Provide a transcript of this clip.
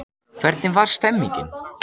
Hvernig var stemmingin?